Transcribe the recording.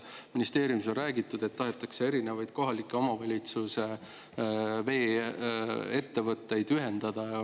Ministeeriumis on räägitud, et tahetakse erinevaid kohalike omavalitsuse vee‑ettevõtteid ühendada.